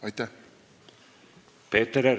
Aitäh!